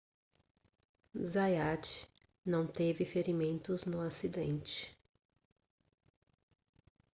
zayat não teve ferimentos no acidente